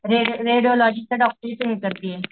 Red रेडिओलॉजिच डॉक्टरीच हे करतीये.